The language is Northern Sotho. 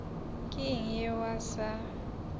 ke eng yeo a sa